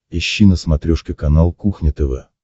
ищи на смотрешке канал кухня тв